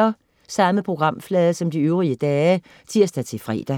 Samme programflade som de øvrige dage (tirs-fre)